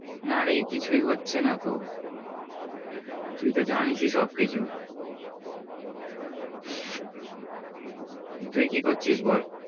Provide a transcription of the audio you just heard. না রে কিছুই হচ্ছে না তো তুই তো জানিসই সব কিছু তুই কি করছিস বল।